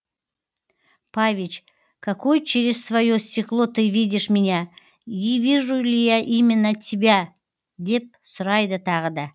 павич какой через свое стекло ты видишь меня и вижу ли я именно тебя деп сұрайды тағы да